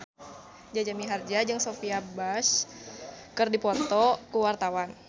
Jaja Mihardja jeung Sophia Bush keur dipoto ku wartawan